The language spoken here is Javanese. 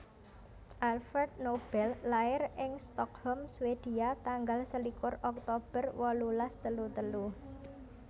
Alfred Nobel lair ing Stockholm Swedia tanggal selikur Oktober wolulas telu telu